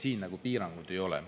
Siin piirangud ei ole.